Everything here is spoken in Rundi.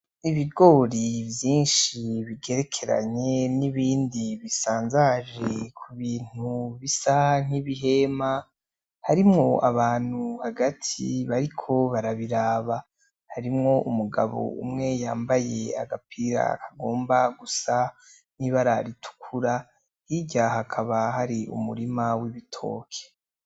Ibigori vyinshi bigerekeranye n'ibindi bisanzaje ku bintu bisa nk'ibihema harimwo abantu hagati bariko barabiraba harimwo umugabo umwe yambaye agapira akagomba gusa nibararitukura yirya hakaba hari umurima w'ibitoke.